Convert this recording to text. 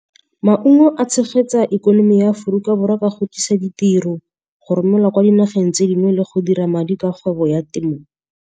Maungo a tshegetsa ikonomi ya Aforika Borwa ka go tlisa ditiro, go romelwa kwa dinageng tse dingwe le go dira madi ka kgwebo ya temo.